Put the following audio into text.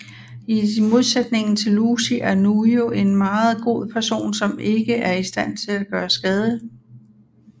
I modsætningen til Lucy er Nyû en meget god person som ikke er i stand til at gøre skade